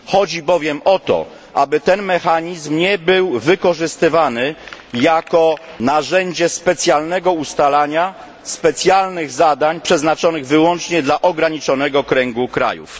Chodzi bowiem o to, aby ten mechanizm nie był wykorzystywany jako narzędzie specjalnego ustalania specjalnych zadań przeznaczonych wyłącznie dla ograniczonego kręgu krajów.